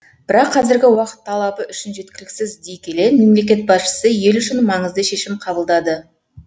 бірақ қазіргі уақыт талабы үшін жеткіліксіз дей келе мемлекет басшысы ел үшін маңызды шешім қабылдады